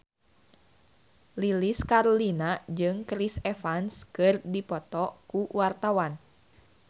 Lilis Karlina jeung Chris Evans keur dipoto ku wartawan